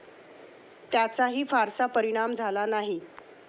त्याचाही फारसा परिणाम झाला नाही.